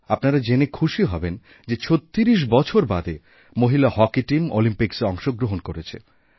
আপনারা জেনে খুশিহবেন যে ৩৬ বছর বাদে মহিলা হকি টিম অলিম্পিক্সে অংশগ্রহণ করেছে